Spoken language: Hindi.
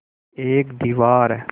एक दीवार